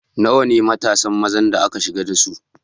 Nawa ne matasan mazan da aka shigar da su?